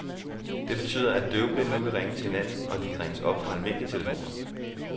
Det betyder, at døvblinde nu kan ringe til hinanden, og at de kan ringes op fra almindelige telefoner.